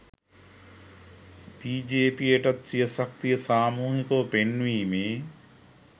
බිජේපීයටත් සිය ශක්තිය සාමූහිකව පෙන්වීමේ